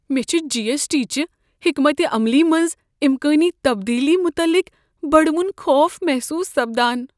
مے٘ چھ G S T چہ حؔكمت عملی منٛز امكٲنی تبدیلی متعلق بڈوُن خوف محصوص سپدان۔